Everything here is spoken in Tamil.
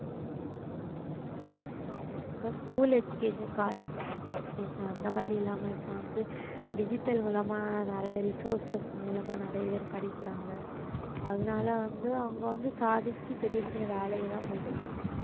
ஆமா இப்ப school education college education அந்த மாதிரி இல்லாம இப்ப வந்து digital மூலமா நிறைய resources மூலமா நிறைய பேர் படிக்கிறாங்க அதனால வந்து அவங்க வந்து சாதிச்சு பெரிய பெரிய வேலைக்கு எல்லாம் போயிருக்காங்க